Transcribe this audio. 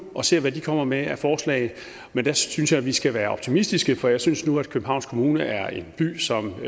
og ser hvad de kommer med af forslag men der synes jeg at vi skal være optimistiske for jeg synes nu at københavns kommune er en by som